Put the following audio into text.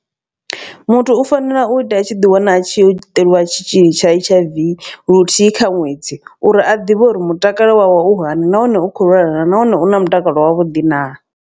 Muthu u fanela u ita a tshi ḓi wana a tshi yo ṱoliwa tshitzhili tsha H_I_V luthihi kha ṅwedzi. Uri a ḓivhe uri mutakalo wawe u hani nahone u kho lwala nahone u na mutakalo wavhuḓi na.